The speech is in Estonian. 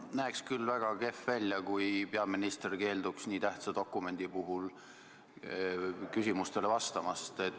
See näeks küll väga kehv välja, kui peaminister keelduks nii tähtsa dokumendi puhul küsimustele vastamast.